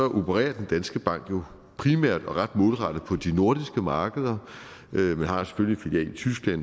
opererer danske bank jo primært og ret målrettet på de nordiske markeder men har selvfølgelig filial i tyskland og